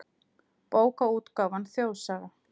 Bókaútgáfan Þjóðsaga.